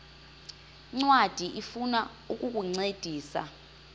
ncwadi ifuna ukukuncedisa